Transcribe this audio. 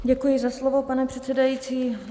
Děkuji za slovo, pane předsedající.